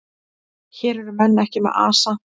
Hér eru menn ekki með asa.